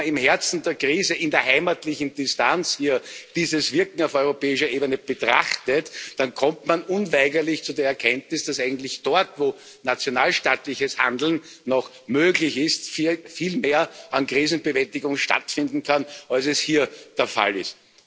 Wenn man im Herzen der Krise in der heimatlichen Distanz dieses Wirken auf europäischer Ebene betrachtet, dann kommt man unweigerlich zu der Erkenntnis, dass eigentlich dort, wo nationalstaatliches Handeln noch möglich ist, viel mehr an Krisenbewältigung stattfinden kann, als es hier der Fall ist.